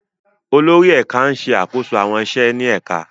Àwọn olórí ẹ̀ka ń ṣe àkóso àwọn iṣẹ́ ní ẹ̀ka.